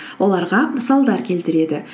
оларға мысалдар келтіреді